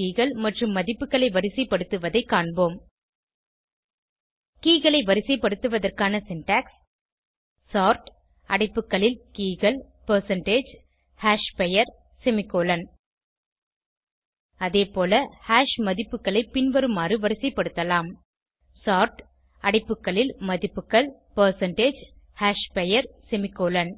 hash keyகள் மற்றும் மதிப்புகளை வரிசைப்படுத்துவதை காண்போம் கே களை வரிசைப்படுத்துவதற்கான சின்டாக்ஸ் சோர்ட் அடைப்புகளில் keyகள் பெர்சென்டேஜ் hashபெயர் செமிகோலன் அதேபோல ஹாஷ் மதிப்புகளை பின்வருமாறு வரிசைப்படுத்தலாம் சோர்ட் அடைப்புகளில் மதிப்புகள் பெர்சென்டேஜ் hashபெயர் செமிகோலன்